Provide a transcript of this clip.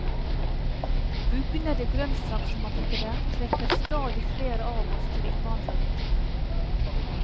Bugnende grønnsaksmarkeder trekker stadig flere av oss til innvandrerbutikkene.